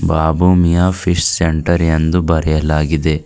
ಬಾಬು ಮಿ ಆ peace centre ಎಂದು ಬರೆಯಲಾಗಿದೆ.